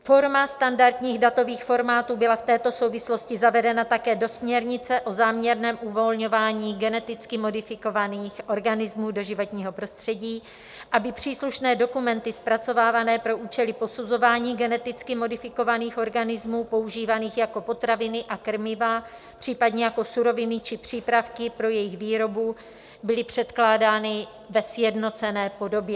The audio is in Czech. Forma standardních datových formátů byla v této souvislosti zavedena také do směrnice o záměrném uvolňování geneticky modifikovaných organismů do životního prostředí, aby příslušné dokumenty, zpracovávané pro účely posuzování geneticky modifikovaných organismů používaných jako potraviny a krmiva, případně jako suroviny či přípravky pro jejich výrobu, byly předkládány ve sjednocené podobě.